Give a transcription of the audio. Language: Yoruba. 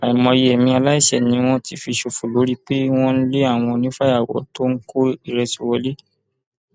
àìmọye ẹmí aláìṣẹ ni wọn ti fi ṣòfò lórí pé wọn ń lé àwọn onífàyàwọ tó ń kó ìrẹsì wọlẹ